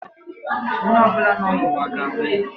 Onye ọ bụla nọ n'ụwa ga-anwụ.